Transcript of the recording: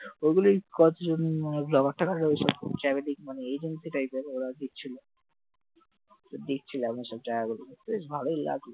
ওগুলি কতজন মানে blogger ট্লগার রয়েছে চারিদিক মানে agency type এর ওরা দেখছিল দেখছিল all most সব জায়গাগুলো বেশ ভালোই আছে